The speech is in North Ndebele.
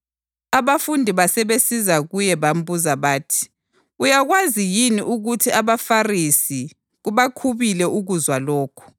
Abafundi basebesiza kuye bambuza bathi, “Uyakwazi yini ukuthi abaFarisi kubakhubile ukuzwa lokhu?”